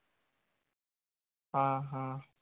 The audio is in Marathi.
हां हां